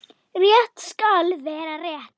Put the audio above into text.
Rétt skal vera rétt.